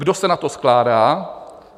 Kdo se na to skládá?